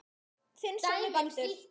Þinn sonur Baldur.